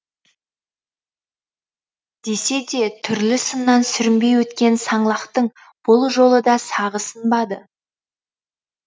десе де түрлі сыннан сүрінбей өткен саңлақтың бұл жолы да сағы сынбады